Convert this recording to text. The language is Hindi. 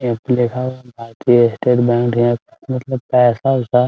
यहाँ पे लिखा हुआ है भारतीय स्टेट बैंक मतलब पैसा उसा --